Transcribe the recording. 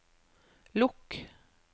lukk